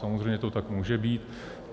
Samozřejmě to tak může být.